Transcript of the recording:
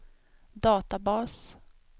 databas